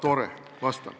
Tore, vastan.